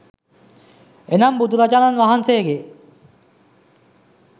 එනම් බුදුරජාණන් වහන්සේගේ